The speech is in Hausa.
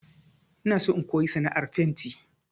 Ina so in koyi sana'ar fenti